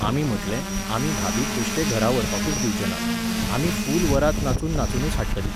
आमी म्हटलें, आमी भाभीक बेश्टे घरा व्हरपाकूच दिवचे नात. आमी फूल वरात नाचून नाचुनूच हाडटलीं.